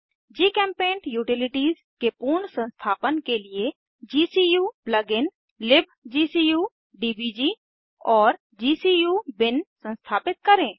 जीचेम्पेंट utilities के पूर्ण संस्थापन के लिए gcu प्लगइन libgcu डीबीजी और gcu बिन संस्थापित करें